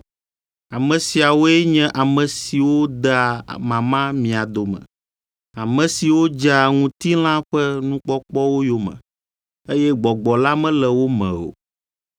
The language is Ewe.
Ame siawoe nye ame siwo dea mama mia dome, ame siwo dzea ŋutilã ƒe nukpɔkpɔwo yome, eye Gbɔgbɔ la mele wo me o.